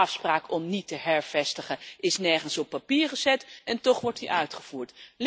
De afspraak om niet te hervestigen is nergens op papier gezet en toch wordt die uitgevoerd.